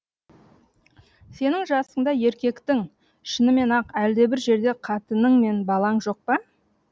сенің жасыңда еркектің шынымен ақ әлдебір жерде қатының мен балаң жоқ па